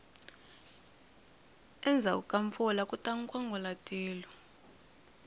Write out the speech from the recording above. endzhaku ka mpfula kuta nkwangulatilo